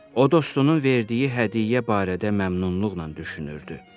O dostunun verdiyi hədiyyə barədə məmnunluqla düşünürdü.